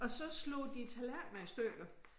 Og så slog de tallerkener i stykker